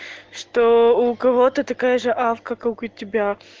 что у кого-то такая же авка как у тебя